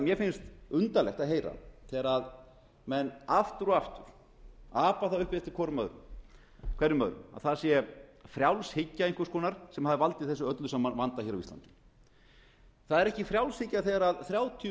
mér finnst undarlegt að heyra þegar menn aftur og aftur apa það upp eftir hvorum öðrum að það sé frjálshyggja einhvers konar sem hafi valdið þessum öllum vanda á íslandi það er ekki frjálshyggja þegar þrjátíu